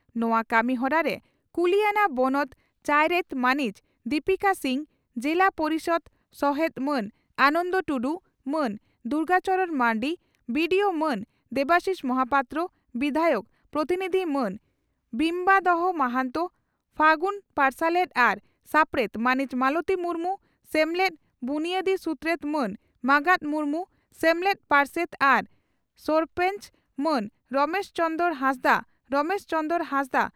ᱱᱚᱣᱟ ᱠᱟᱹᱢᱤᱦᱚᱨᱟ ᱨᱮ ᱠᱩᱞᱤᱭᱟᱱᱟ ᱵᱚᱱᱚᱛ ᱪᱟᱭᱨᱮᱛ ᱢᱟᱹᱱᱤᱡ ᱫᱤᱯᱤᱠᱟ ᱥᱤᱝ, ᱡᱤᱞᱟ ᱯᱚᱨᱤᱥᱚᱫᱽ ᱥᱚᱦᱮᱛ ᱢᱟᱱ ᱟᱱᱚᱱᱫᱚ ᱴᱩᱰᱩ, ᱢᱟᱱ ᱫᱩᱨᱜᱟ ᱪᱚᱨᱚᱬ ᱢᱟᱨᱱᱰᱤ, ᱵᱤᱹᱰᱤᱹᱳᱹ ᱢᱟᱱ ᱫᱮᱵᱟᱥᱤᱥ ᱢᱚᱦᱟᱯᱟᱛᱨᱚ, ᱵᱤᱫᱷᱟᱭᱚᱠ ᱯᱨᱚᱛᱤᱱᱤᱫᱷᱤ ᱢᱟᱹᱱ ᱵᱤᱢᱵᱟᱫᱚᱨ ᱢᱟᱦᱟᱱᱛᱚ, ᱯᱷᱟᱹᱜᱩᱱ ᱯᱟᱨᱥᱟᱞᱮᱛ ᱟᱨ ᱥᱟᱯᱲᱮᱛ ᱢᱟᱹᱱᱤᱡ ᱢᱟᱞᱚᱛᱤ ᱢᱩᱨᱢᱩ, ᱥᱮᱢᱞᱮᱫ ᱵᱩᱱᱭᱟᱫᱤ ᱥᱩᱛᱨᱮᱛ ᱢᱟᱱ ᱢᱟᱸᱜᱟᱛ ᱢᱩᱨᱢᱩ, ᱥᱮᱢᱞᱮᱫ ᱯᱟᱨᱥᱮᱛ ᱟᱨ ᱥᱚᱨᱯᱚᱸᱪ, ᱢᱟᱱ ᱨᱚᱢᱮᱥ ᱪᱚᱸᱫᱽᱨᱚ ᱦᱟᱸᱥᱫᱟᱜ ᱨᱚᱢᱮᱥ ᱪᱚᱸᱫᱽᱨᱚ ᱦᱟᱸᱥᱫᱟᱜ